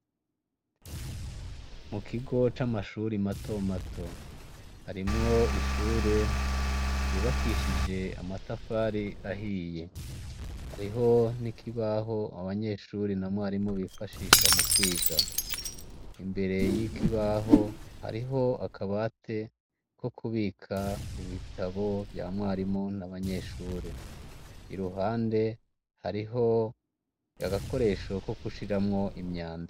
Mu kigo c'amashure matomato, harimw' ishure ryubakishij' amatafar'ahiye, hariho n' ikibaho abanyeshure na mwarimu bifashisha mu kwiga, imbere yikibaho hariho akabate kukubik' ibitabo vya mwarimu n 'abanyeshure iruhande harih' agakoresho ko gushiramw' imyanda.